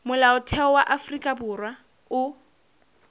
molaotheo wa afrika borwa o